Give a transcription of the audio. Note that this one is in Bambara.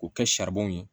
K'o kɛ saribɔn ye